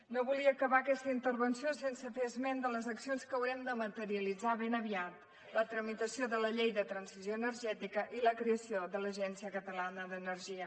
no volia acabar aquesta intervenció sense fer esment de les accions que haurem de materialitzar ben aviat la tramitació de la llei de transició energètica i la creació de l’agència catalana d’energia